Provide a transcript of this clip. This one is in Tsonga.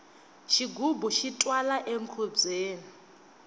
xigubu xi twala enkhubyeni